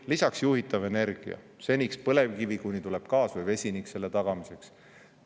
Lisaks juhitav energia, seniks põlevkivi, kuni tuleb gaas või vesinik selle tagamiseks.